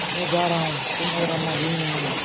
मैं जा रहा हूँ तुम और अम्मा यहीं रहोगे